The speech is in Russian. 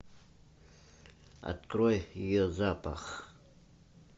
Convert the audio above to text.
открой ее запах